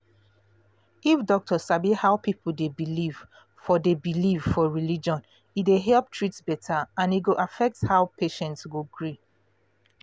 if doctor sabi how people dey believe for dey believe for religion e go help treat better and e go affect how patient go gree